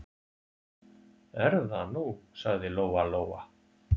Er það nú, sagði Lóa-Lóa.